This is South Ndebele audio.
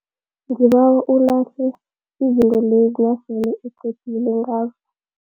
Ngibawa ulahle izinto lezi nasele uqedile ngazo.